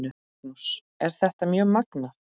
Magnús: Er þetta mjög magnað?